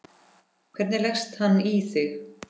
Hvernig leggst hann í þig?